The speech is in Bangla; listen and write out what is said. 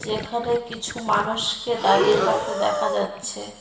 এখানে কিছু মানুষকে দাঁড়িয়ে থাকতে দেখা যাচ্ছে।